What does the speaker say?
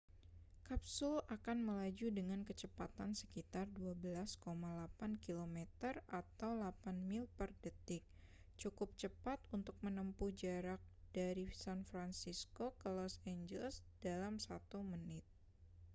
kapsul akan melaju dengan kecepatan sekitar 12,8 km atau 8 mil per detik cukup cepat untuk menempuh jarak dari san francisco ke los angeles dalam satu menit